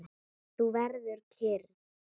Þú verður kyrr.